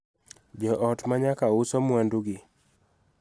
Jo ot ma nyaka uso mwandugi